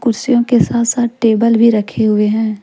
के साथ साथ टेबल भी रखे हुए है।